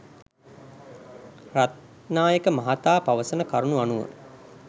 රත්නායක මහතා පවසන කරුණු අනුව